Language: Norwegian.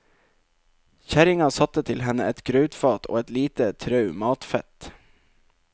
Kjerringa satte til henne et grautfat og et lite trau matfett.